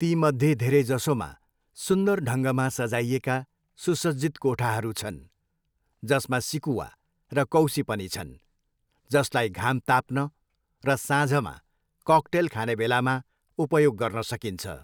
तीमध्ये धेरैजसोमा सुन्दर ढङ्गमा सजाइएका सुसज्जित कोठाहरू छन्, जसमा सिकुवा र कौसी पनि छन्, जसलाई घाम ताप्न र साँझमा ककटेल खानेबेलामा उपयोग गर्न सकिन्छ।